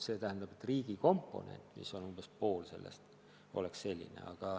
See tähendab, et riigi komponent, mis on umbes pool palgast, oleks selline.